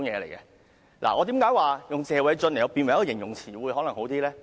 為何我認為以"謝偉俊"為形容詞較好呢？